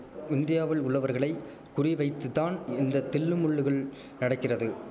இந்தியாவில் உள்ளவர்களை குறிவைத்துதான் இந்த தில்லுமுல்லுகள் நடக்கிறது